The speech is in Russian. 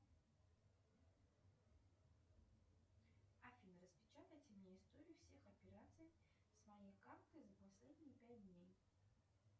афина распечатайте мне историю всех операций с моей карты за последние пять дней